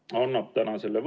Austatud ettekandja, hea Andres!